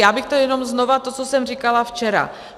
Já bych řekla jenom znova to, co jsem říkala včera.